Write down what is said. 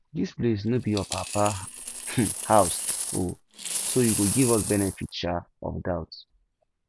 dis place no be your papa um house oo so you go give us benefit um of doubt